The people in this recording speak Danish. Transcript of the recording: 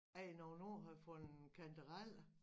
At jeg noget år havde fundet kantareller